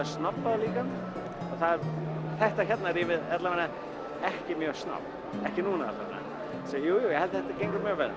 snobbaður líka þetta hérna rými er ekki mjög snobb ekki núna allavega þetta gengur mjög vel